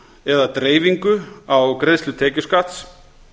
eða dreifingu á greiðslu tekjuskatts